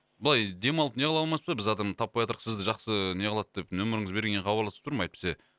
былай демалып неғыла алмайсыз ба біз адамда таппаятырық сізді жақсы неғылады деп нөміріңізді бергеннен кейін хабарласып тұрмын әйтпесе